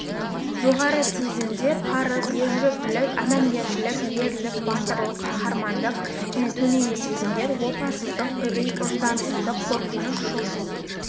жоғарғы сезімдер парыз ержүректілік адамгершілік ерлік батырлық қаһармандық және төменгі сезімдер опасыздық үрей ұждансыздық қорқыныш шошу